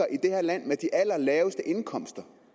om